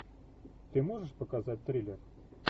ты можешь показать триллер